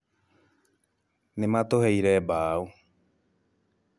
Nĩ matũheire mbaũ